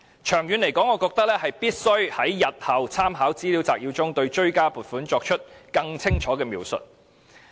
長遠而言，我認為政府日後必須在立法會參考資料摘要中對追加撥款的原因作出更清楚的描述。